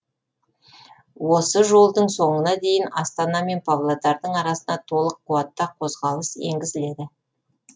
осы жолдың соңына дейін астана мен павлодардың арасына толық қуатта қозғалыс енгізіледі